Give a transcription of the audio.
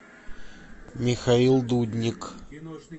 михаил дудник